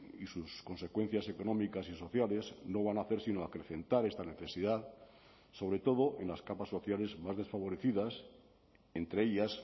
y sus consecuencias económicas y sociales no van a hacer sino acrecentar esta necesidad sobre todo en las capas sociales más desfavorecidas entre ellas